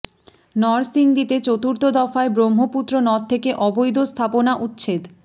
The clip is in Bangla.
নরসিংদীতে চতুর্থ দফায় ব্রহ্মপুত্র নদ থেকে অবৈধ স্থাপনা উচ্ছেদ